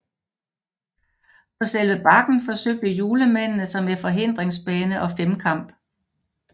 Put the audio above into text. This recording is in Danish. På selve Bakken forsøgte julemændene sig med forhindringsbane og femkamp